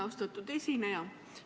Austatud esineja!